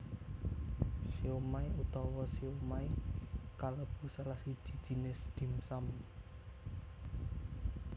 Siomai utawa siomay kalebu salah siji jinis dim sum